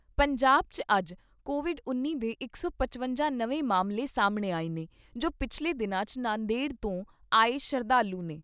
ਪੰਜਾਬ ' ਚ ਅੱਜ ਕੋਵਿਡ ਉੱਨੀ ਦੇ ਇਕ ਸੌ ਪਚਵੰਜਾ ਨਵੇਂ ਮਾਮਲੇ ਸਾਹਮਣੇ ਆਏ ਨੇ ਜੋ ਪਿਛਲੇ ਦਿਨਾਂ 'ਚ ਨਾਂਦੇੜ ਤੋਂ ਆਏ ਸ਼ਰਧਾਲੂ ਨੇ।